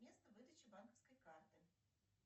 место выдачи банковской карты